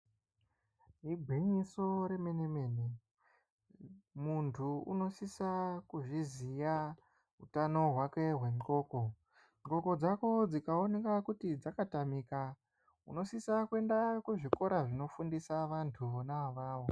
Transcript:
Igwinyiso remene mene. Muntu unosisa kuzviziya utano hwake hwenxoko. Nxoko dzako dzikaoneka kuti dzakatamika, unosisa kuenda kuzvikora zvinofundisa vanhu vona ivavo.